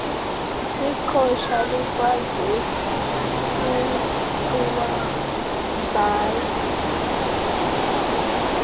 iqhosha elikwazi ukuwavala